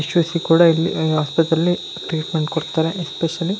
ಯಶಸ್ವಿ ಕೂಡ ಇಲ್ಲಿ ಹ್ಮ್ ಆಸ್ಪತ್ರೆಲ್ಲಿ ಟ್ರೀಟ್ಮೆಂಟ್ ಕೊಡತ್ತಾರೆ ಎಸ್ಪೇಸಿಯಲ್ಲಿ --